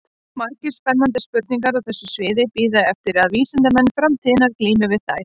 Margar spennandi spurningar á þessu sviði bíða eftir að vísindamenn framtíðarinnar glími við þær.